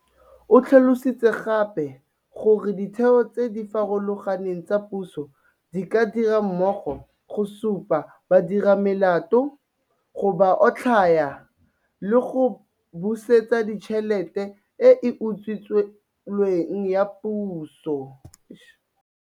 O tlhalositse gape gore ditheo tse di farologaneng tsa puso di dira mmogo go supa badiramelato, go ba otlhaya, le go busetsa tšhelete e e utswilweng ya Puso.